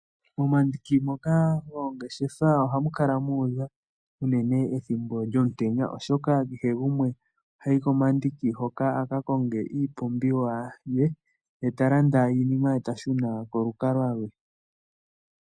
Momandiki goongeshefa ohamu kala muudha unene ethimbo lyomutenya oshoka kehe gumwe oko hayi a ka lande iipumbiwa ye eta shuna kolukalwa lwe.